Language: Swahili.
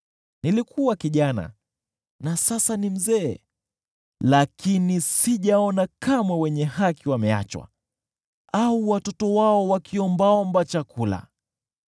Nilikuwa kijana na sasa ni mzee, lakini sijaona kamwe wenye haki wameachwa au watoto wao wakiombaomba chakula.